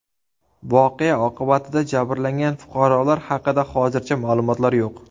Voqea oqibatida jabrlangan fuqarolar haqida hozircha ma’lumotlar yo‘q.